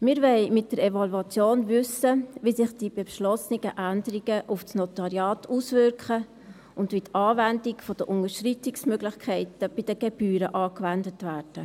Wir wollen mit der Evaluation wissen, wie sich die beschlossenen Änderungen auf das Notariat auswirken und wie die Unterschreitungsmöglichkeiten bei den Gebühren angewendet werden.